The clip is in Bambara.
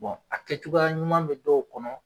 a kɛ cogoya ɲuman bɛ dɔw kɔnɔ